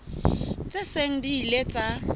tse seng di ile tsa